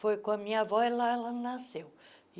Foi com a minha avó e, lá, ela nasceu.